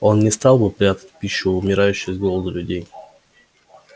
он не стал бы прятать пищу умирающих с голоду людей